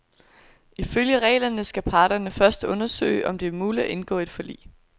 Ifølge reglerne skal parterne først undersøge, om det er muligt at indgå et forlig.